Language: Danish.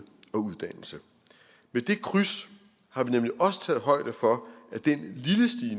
og uddannelse med det kryds har vi nemlig også taget højde for